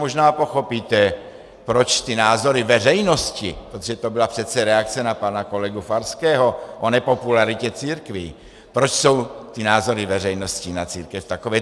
Možná pochopíte, proč ty názory veřejnosti - protože to byla přece reakce na pana kolegu Farského, o nepopularitě církví - proč jsou ty názory veřejnosti na církev takové.